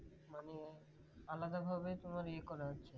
মানে আলাদা ভাবে তোমার ই করা আছে